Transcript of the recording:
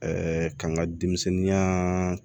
k'an ka denmisɛnninya